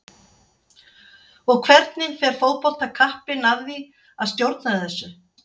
Og hvernig fer fótboltakappinn að því að stjórna þessu?